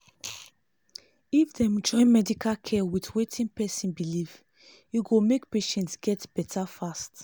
if dem join medical care with wetin person believe e go make patient get better fast